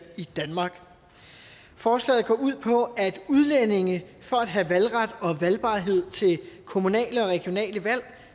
i danmark forslaget går ud på at udlændinge for at have valgret og valgbarhed til kommunale og regionale valg